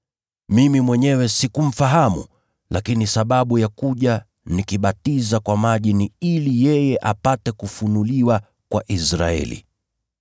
Mimi mwenyewe sikumfahamu, lakini sababu ya kuja nikibatiza kwa maji ni ili yeye apate kufunuliwa kwa Israeli.”